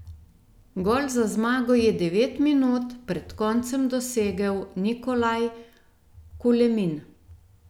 Gol za zmago je devet minut pred koncem dosegel Nikolaj Kulemin.